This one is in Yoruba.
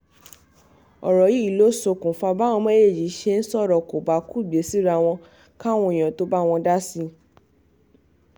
ọ̀rọ̀ yìí ló ṣokùnfà báwọn méjèèjì ṣe sọ̀rọ̀ kòbákùngbé síra wọn káwọn èèyàn tóo bá wọn dá sí i